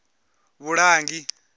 vhulangi